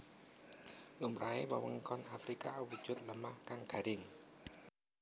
Lumrahe wewengkon Afrika awujud lemah kang garing